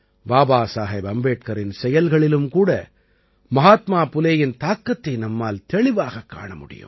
பாபாசாஹேப் அம்பேட்கரின் செயல்களிலும் கூட மஹாத்மா புலேயின் தாக்கத்தை நம்மால் தெளிவாகக் காண முடியும்